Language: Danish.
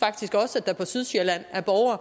at der på sydsjælland